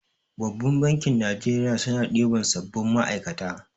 Babbar bankin Najeriya suna ɗiban sabbin ma'aikata.